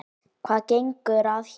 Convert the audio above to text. Hvað gengur að þér?